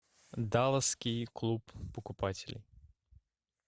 далласский клуб покупателей